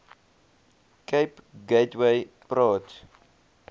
cape gateway praat